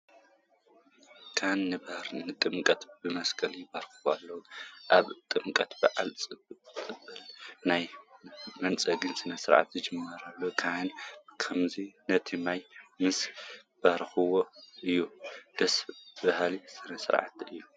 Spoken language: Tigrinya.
ካህናት ንባህረ ጥምቀት ብመስቀል ይባርኽዎ ኣለዉ፡፡ ኣብ ጥምቀት በዓል ፀበል ናይ ምንፃግ ስነ ስርዓት ዝጅመር ካህናት ብኸምዚ ነቲ ማይ ምስ ባረኽዎ እዩ፡፡ ደስ በሃሊ ስርዓት እዩ፡፡